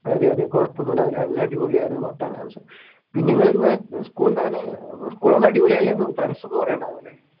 അതെ അതെ കുഴപ്പമൊന്നുമുണ്ടായില്ല നല്ല അടിപൊളിയായിരുന്നു പത്താം ക്ലാസ്